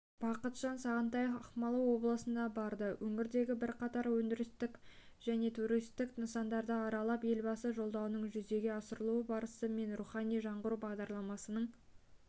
бақытжан сағынтаев ақмола облысына барды өңірдегі бірқатар өндірістік және туристік нысанды аралап елбасы жолдауының жүзеге асырылу барысы мен рухани жаңғыру бағдарламасының